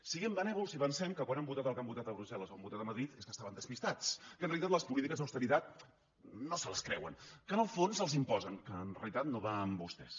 siguem benèvols i pensem que quan han votat el que han votat a brussel·les o han votat a madrid és que estaven despistats que en realitat les polítiques d’austeritat no se les creuen que en el fons els les imposen que en realitat no va amb vostès